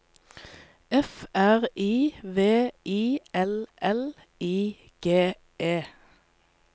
F R I V I L L I G E